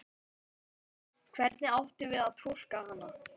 Hvernig áttum við að túlka hana?